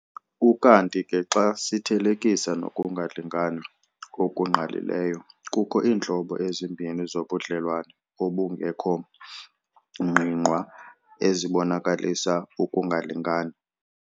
Ukanti ke xa sithelekisa nokungalingani okungqalileyo, kukho iintlobo ezimbini zobudlelwane obungekho ngqingqwa ezibonakalisa ukungalingani.